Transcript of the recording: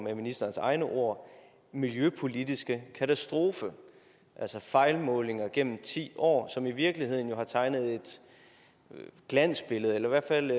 er ministerens egne ord miljøpolitiske katastrofe altså fejlmålinger gennem ti år som jo i virkeligheden har tegnet et glansbillede eller i hvert fald